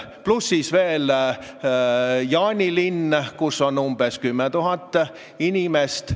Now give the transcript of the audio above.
Pluss veel Jaanilinn, kus on umbes 10 000 inimest.